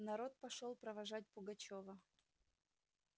народ пошёл провожать пугачёва